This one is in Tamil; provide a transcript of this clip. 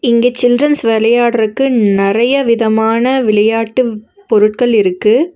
இங்க சில்ட்ரன்ஸ் வெளயாடற்க்கு நெறையா விதமான விளையாட்டு பொருட்கள் இருக்கு.